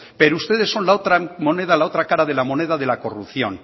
pero ustedes son la otra moneda la otra cara de la moneda de la corrupción